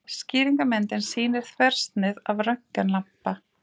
Skýringarmyndin sýnir þversnið af röntgenlampa.